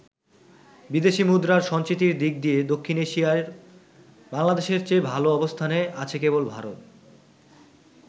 বিদেশি মুদ্রার সঞ্চিতির দিক দিয়ে দক্ষিণ এশিয়ায় বাংলাদেশের চেয়ে ভাল অবস্থানে আছে কেবল ভারত।